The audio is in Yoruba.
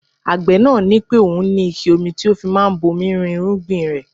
Agbe náà ní pé òun ní ike omi tí ó fi máa ń bomi rin irúgbìn rẹ.